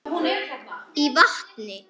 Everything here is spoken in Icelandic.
í vatni.